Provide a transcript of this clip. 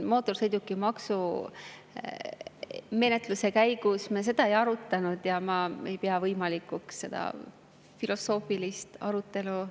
Mootorsõidukimaksu menetluse käigus me seda ei arutanud ja ma ei pea võimalikuks algatada siin filosoofiline arutelu.